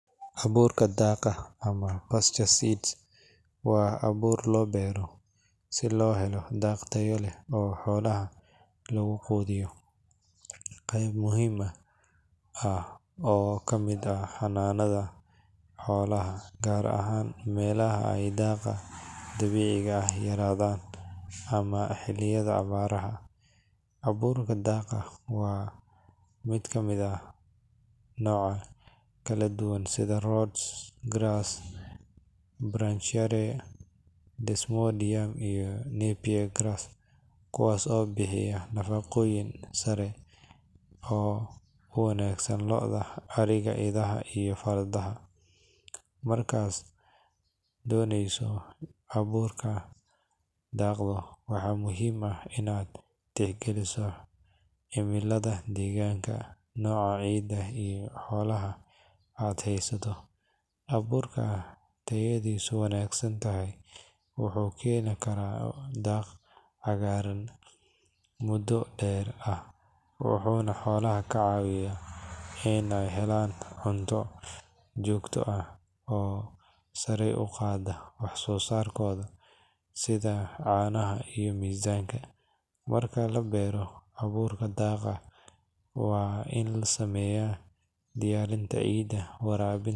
Abuurka daaqa ama pasture seeds waa abuur loo beero si loo helo daaq tayo leh oo xoolaha lagu quudiyo. Waa qayb muhiim ah oo ka mid ah xanaanada xoolaha, gaar ahaan meelaha ay daaqa dabiiciga ah yaraadaan ama xilliyada abaaraha. Abuurka daaqa waxaa ka mid ah noocyo kala duwan sida Rhodes grass, Brachiaria, Desmodium iyo Napier grass, kuwaas oo bixiya nafaqooyin sare leh oo u wanaagsan lo’da, ariga, idaha iyo fardaha. Markaad dooranayso abuurka daaqa, waxaa muhiim ah in aad tixgeliso cimilada deegaanka, nooca ciidda iyo xoolaha aad haysato. Abuurka tayadiisu wanaagsan tahay wuxuu keenaa daaq cagaaran muddo dheer ah, wuxuuna xoolaha ka caawiyaa inay helaan cunto joogto ah oo sare u qaadda wax-soo-saarkooda sida caanaha iyo miisaanka. Marka la beero abuurka daaqa, waa in la sameeyo diyaarinta ciidda, waraabinta.